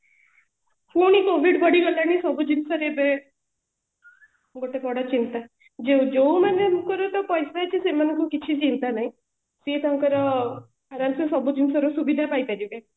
ପୁଣି covid ବଢି ଗଲାଣି ସବୁ ଜିନିଷରେ ଏବେ ଗୋଟେ ବଡ ଚିନ୍ତା ଯୋଉମାନଙ୍କର ତ ପଇସା ଅଛି ସେମାନଙ୍କୁ କିଛି ଚିନ୍ତା ନାହି ସିଏ ତାଙ୍କର ଆରମ ସେ ସବୁ ଜିନିଷ ର ସୁବିଧା ପାଇ ପାରିବେ